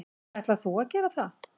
Ætlar þú að gera það?